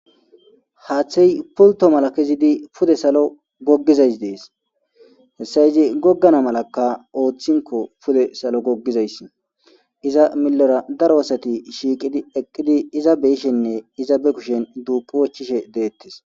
Haaththey pulto mala kezidi pude salo goggizays dees hasayizi goggana malaka ooththinko pude salo goggizayss iza milora daro asati shiiqidi eqqidi iza beyishenne iza be kushen duuqi wochishe deettes.